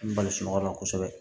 N balisi yɔrɔ la kosɛbɛ